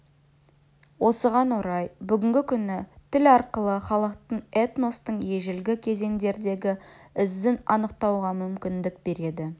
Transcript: осыған орай бүгінгі күні тіл арқылы халықтың этностың ежелгі кезеңдердегі ізін анықтауға мүмкіндік береді